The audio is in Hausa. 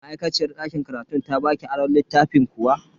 Ma'aikaciyar dakin karatun ta baki aron littafin kuwa?